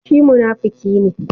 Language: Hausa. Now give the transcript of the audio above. Shi munafuki ne.